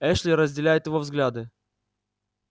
эшли разделяет его взгляды